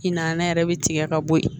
I nana yɛrɛ bi tigɛ ka bɔ yen